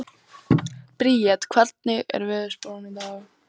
Berit, hvernig er veðurspáin?